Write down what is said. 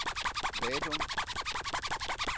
Vadum